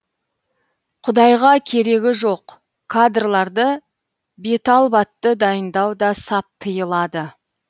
құдайға керегі жоқ кадрларды беталбатты дайындау да сап тиылады